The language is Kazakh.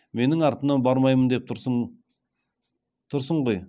менің артымнан бармаймын деп тұрсың ғой